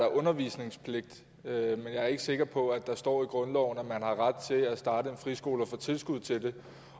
der undervisningspligt men jeg er ikke sikker på der står i grundloven at man har ret til at starte en friskole og få tilskud til det